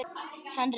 Hann reit